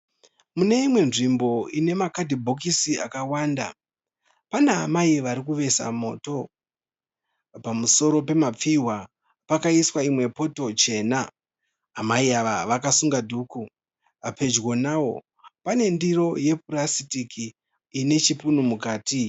Muneimwe nzvimbo ina ma kadhi bokisi akawanda pana amai vari kuvesa moto. Pamusoro pamapfihwa pakaiswa imwe poto chena. Amai ava vakasunga dhuku , pedyo navo pane ndiro yepurasitiki ine chipunu mukati.